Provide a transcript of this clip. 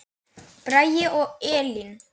Bragi og Elín.